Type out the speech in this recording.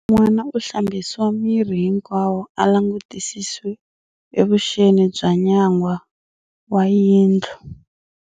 N'wana u hlambisiwa miri hinkwawo a langutisisiwe evuxeni bya nyangwa wa yindlu.